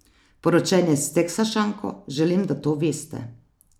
Poročen je s Teksašanko, želim, da to veste.